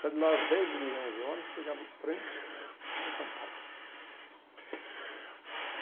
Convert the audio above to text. Saía de lá às dez e meia, onze horas, pegava o trem para São Paulo.